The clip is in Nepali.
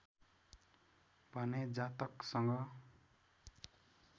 भने जातकसँग